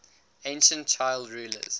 ancient child rulers